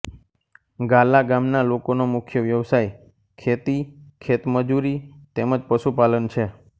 ગાલા ગામના લોકોનો મુખ્ય વ્યવસાય ખેતી ખેતમજૂરી તેમ જ પશુપાલન છે